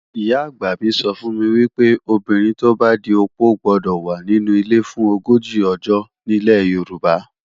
Ìyá-àgbà mi sọ fún mi wípé, obìnrin tó bá di opó gbọ́dọ̀ wà nínu ilé fún ogójì ọjọ́ nílẹ̀ Yorùbá.